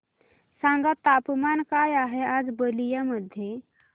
सांगा तापमान काय आहे आज बलिया मध्ये